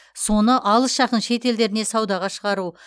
соны алыс жақын шет елдеріне саудаға шығару